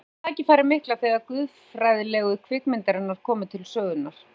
Hann fékk tækifærið mikla þegar guðfræðilegu kvikmyndirnar komu til sögunnar.